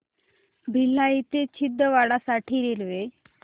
भिलाई ते छिंदवाडा साठी रेल्वे